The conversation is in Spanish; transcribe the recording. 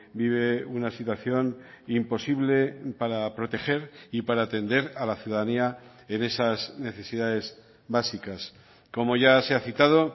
vive una situación imposible para proteger y para atender a la ciudadanía en esas necesidades básicas como ya se ha citado